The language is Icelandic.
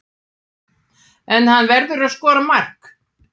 En hann verður að skora mark.